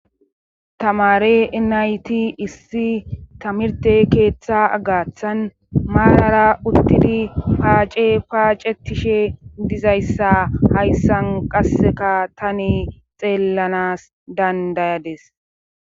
Tamare enayti issi tamirte keeththa agaththan maarara uttidi paace paacetishe dizayssa hayssan qasseka tani xeellanas dandayades.